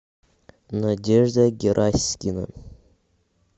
надежда гераськина